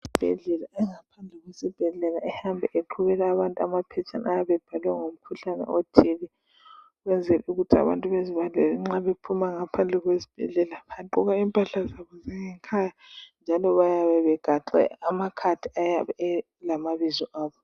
Esibhedlela engaphandle kwezibhedlela ehamba eqhubela abantu amaphetshana ayabe ebhalwe ngomkhuhlane othile ukwenzela ukuthi abantu bazibalele nxa bephuma ngaphandle kwezibhedlela. Bagqoka impahla zobo zangekhaya njalo bayabe begaxe amakhadi ayabe elamabizo abo.